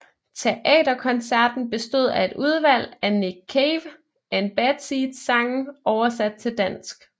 Teaterkoncerten bestod af et udvalg af Nick Cave and Bad Seeds sange oversat til dansk